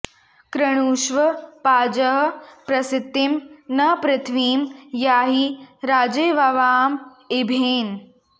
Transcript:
कृ॒णु॒ष्व पाजः॒ प्रसि॑तिं न पृ॒थ्वीं या॒हि राजे॒वाम॑वाँ॒ इभे॑न